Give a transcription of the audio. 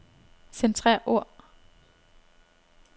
Centrer ord.